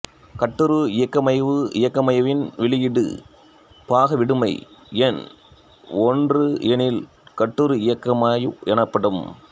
கட்டுறு இயங்கமைவு இயங்கமைவின் வெளியிடு பாக விடுமை எண் ஒன்று எனில் கட்டுறு இயங்கமைவு எனப்படும்